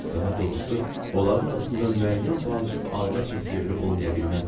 Daha doğrusu, onların arasında müəyyən vacib ailə çək-çeviri olmaya bilməzdi.